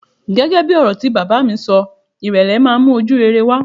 Gẹ́gẹ́ bí ọ̀rọ̀ tí bàbá mi bá mi sọ, ìrèlè máa ń mú ojúrere wá.